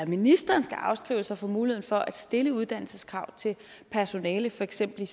ministeren skal afskrive sig sig muligheden for at stille uddannelseskrav til personale for eksempel